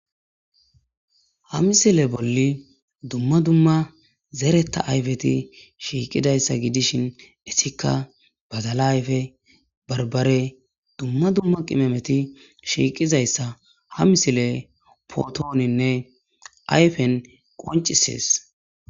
ha misile bolli dumma dumma zereta ayfeti shiiqidayssa gidishin issikka bazala ayfe barbare dumma dumma qimemeti shiiqizayssa ha misile potooninne ayfen qoncisees